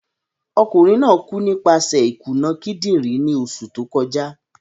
Okunrin naa ku nipaṣẹ ikuna kidinrin ni oṣu to kọja.